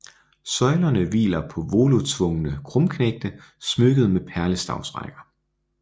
Søjlerne hviler på volutsvungne krumknægte smykket med perlestavsrækker